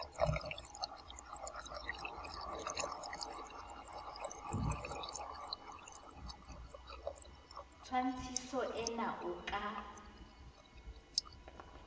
tshwantshiso ee na o ka